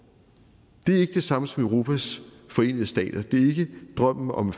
det er ikke det samme som europas forenede stater det er ikke drømmen om